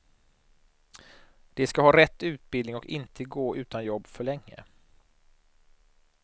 De ska ha rätt utbildning och inte gå utan jobb för länge.